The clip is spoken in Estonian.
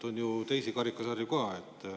On ju teisi karikasarju ka.